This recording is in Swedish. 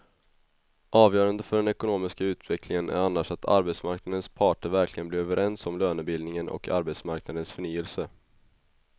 Avgörande för den ekonomiska utvecklingen är annars att arbetsmarknadens parter verkligen blir överens om lönebildningen och arbetsmarknadens förnyelse.